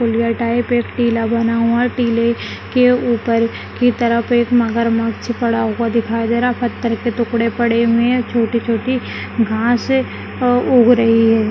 पुलियाँ type एक टीला बना हुआ है टीले के ऊपर की तरफ एक मगरमच्छ पड़ा हुआ दिखाई दे रहा है फत्तर के टुकड़े पड़े हुए है छोटी छोटी घास उग रही है।